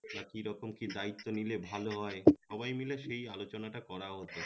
তা কি রকম কি দায়িত্ব নিলে ভালো হয় সবাই মিলে সেই আলোচানা টা করা হত